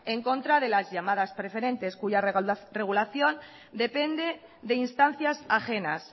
en contra de las llamadas preferentes cuya regulación depende de instancias ajenas